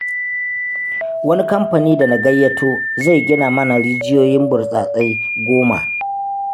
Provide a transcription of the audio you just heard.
Wani kamfani da na gayyato, zai gina mana rijiyoyin burtsatsai 10.